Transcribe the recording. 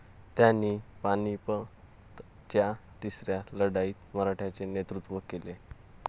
त्यांनी पानिपतच्या तिसऱ्या लढाईत मराठ्यांचे नेतृत्व केले.